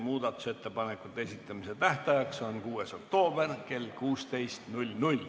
Muudatusettepanekute esitamise tähtaeg on 6. oktoober kell 16.